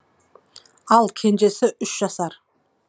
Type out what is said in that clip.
ал кенжесі үш жасар